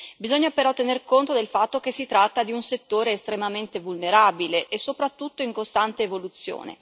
Bisogna però tener conto del fatto che si tratta di un settore estremamente vulnerabile e soprattutto in costante evoluzione.